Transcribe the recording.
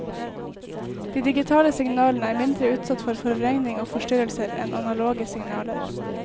De digitale signalene er mindre utsatt for forvrengning og forstyrrelser enn analoge signaler.